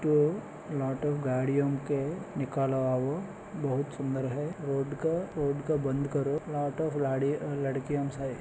To गाड़ियों के निकाला हुआ वो बहुत सुंदर है रोड का रोड को बंद करो लाटो लाड़ी लड़कियों सा है।